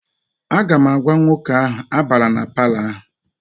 Aga m agwa nwoke ahụ, abala na palọ ahụ!